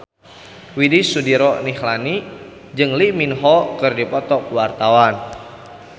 Widy Soediro Nichlany jeung Lee Min Ho keur dipoto ku wartawan